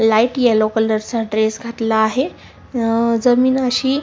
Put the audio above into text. light yellow colour चा dress घातला आहे जमीन अशी--